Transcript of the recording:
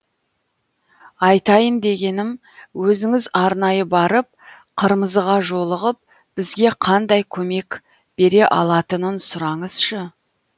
айтайын дегенім өзіңіз арнайы барып қырмызыға жолығып бізге қандай көмек бере алатынын сұраңызшы